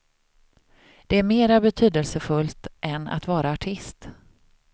Det är mera betydelsefullt än att vara artist.